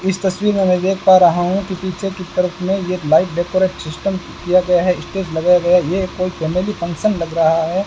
इस तस्वीर में मैं देख पा रहा हूं कि पीछे की तरफ में ये लाइट डेकोरेशन सिस्टम किया गया है स्टेज लगाया गया य्ए कोई फैमिली फंक्शन लग रहा है।